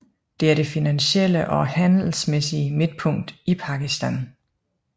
Det er det finansielle og handelsmæssige midtpunkt i Pakistan